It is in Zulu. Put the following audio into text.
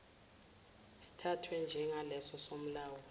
sithathwe njengaleso somlawuli